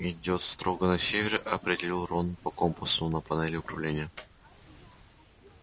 идёт строго на север определил рон по компасу на панели управления